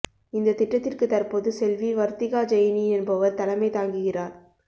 இந்த திட்டத்திற்கு தற்போது செல்வி வர்திகா ஜெய்னி என்பவர் தலைமை தாங்குகிறார்